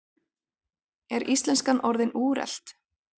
Er íslenskan orðin úrelt?